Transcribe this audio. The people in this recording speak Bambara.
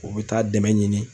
U bɛ taa dɛmɛ ɲini.